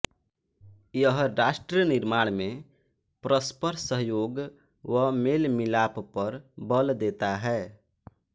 यह राष्ट्र निर्माण में परस्पर सहयोग व मेलमिलाप पर बल देता है